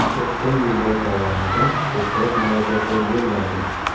O‘tgan yillar davomida ko‘plab murojaatlar yo‘lladim.